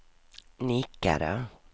nickade